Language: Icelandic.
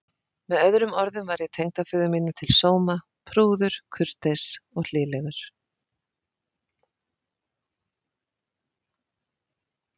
Með öðrum orðum var ég tengdaföður mínum til sóma: prúður, kurteis og hlýlegur.